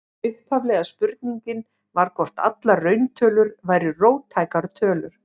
Upphaflega spurningin var hvort allar rauntölur væru róttækar tölur.